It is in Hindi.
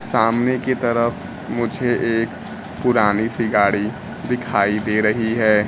सामने की तरफ मुझे एक पुरानी सी गाड़ी दिखाई दे रही है।